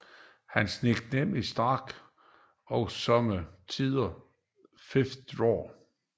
Hans nickname er Stack og somme tider 5th Dawg